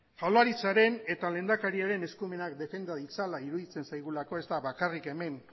jaurlaritzaren eta lehendakariaren eskumenak defenda ditzala iruditzen zaigulako ez da bakarrik hemen